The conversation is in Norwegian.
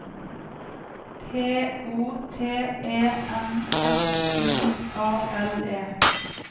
P O T E N S I A L E